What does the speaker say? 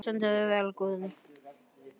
Þú stendur þig vel, Guðný!